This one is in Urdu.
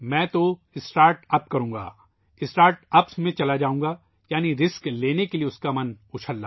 میں اسٹارٹ اپ کروں گا ، میں سٹارٹ اپ میں جاؤں گا یعنی اس کا دِل خطرہ مول لینے کے لئے بے تاب ہے